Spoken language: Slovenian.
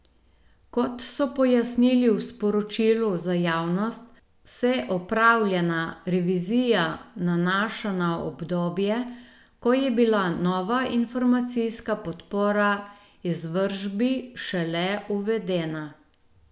Kot so pojasnili v sporočilu za javnost, se opravljena revizija nanaša na obdobje, ko je bila nova informacijska podpora izvršbi šele uvedena.